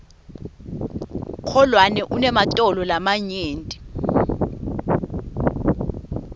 kholwane unematolo lamanyenti